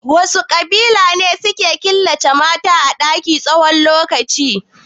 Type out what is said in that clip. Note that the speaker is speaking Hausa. Wasu ƙabilu suke killace mata a ɗaki na tsawon lokaci?